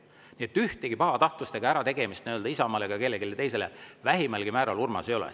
Nii et mingit pahatahtlust ega ärategemist Isamaale ega kellelegi teisele vähimalgi määral, Urmas, ei ole.